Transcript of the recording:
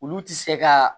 Olu ti se ka